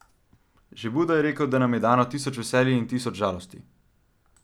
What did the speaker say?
Že Buda je rekel, da nam je dano tisoč veselj in tisoč žalosti.